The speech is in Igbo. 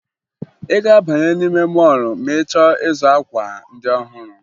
Ị ga-abanye n'ime mọọlụ ma ị chọọ ịzụ akwa ndị ọhụrụ